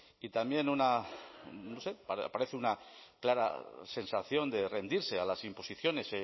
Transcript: y también una no sé parece una clara sensación de rendirse a las imposiciones